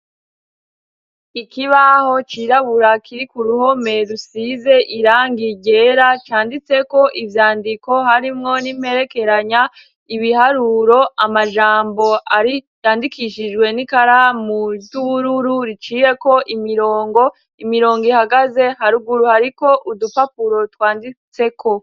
Ikibaho cirabura kiri k'uruhome rusize irangi ryera canditseko ivyandiko harimwo n'imperekeranya, ibiharuro, amajambo ari yandikishijwe n'ikaramu ry'ubururu riciyeko imirongo, imirongo ihagaze. Haruguru hariko udupapuro twanditseko.